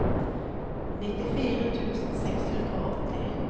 nittifire tusen seks hundre og åtti